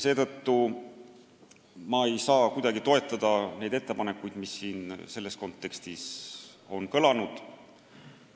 Seetõttu ma ei saa kuidagi toetada neid ettepanekuid, mis siin selles kontekstis on kõlanud.